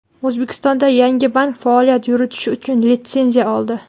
O‘zbekistonda yangi bank faoliyat yuritish uchun litsenziya oldi.